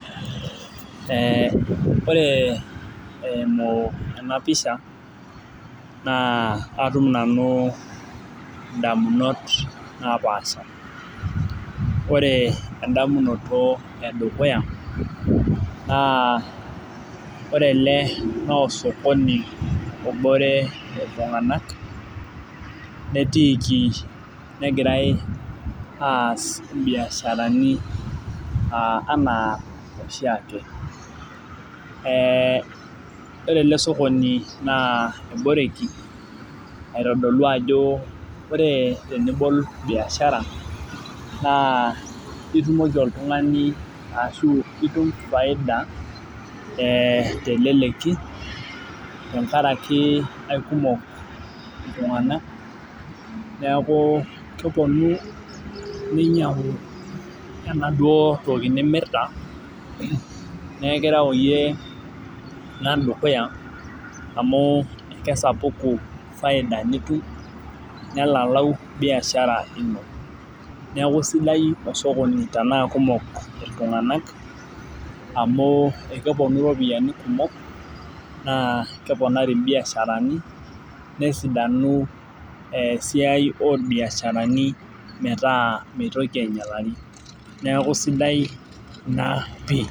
Ee ore eimu enapisha na atum nanu ndamunot napaasha ore endamunoto edukuya na ore ele naosokoni obore ltunganak natiiki egirai aas imbiasharani anaa oshiake ee ore elesokoni na eborekii aitodolu ajo ore enibol biashara itumoki oltungani ashu itum biashara teleleki tenkaraki aikumok ltunganak neaku keponu ninyangu enaduo tokinimirta na keaku nikireu dukuyaamu kesapuku faida nitum nelalau biashara ino neaku sidai osokoni tanaa kumok ltunganak amu keponu ropiyani kumok na keponari mbiasharani nesidanu esiai orbiasharani metaa mitoki ainyalari neaku sidai ena.